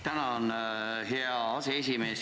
Tänan, hea aseesimees!